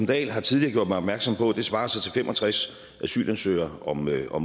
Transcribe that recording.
dahl har tidligere gjort mig opmærksom på at det svarer til fem og tres asylansøgere om måneden og